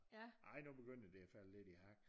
Ej nu begynder det at falde lidt i hak